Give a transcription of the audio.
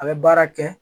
A bɛ baara kɛ